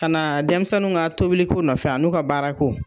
Kana denmisɛnw ka tobiliko nɔfɛ a n'u ka baara ko.